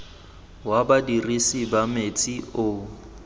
wa badirisi ba metsi o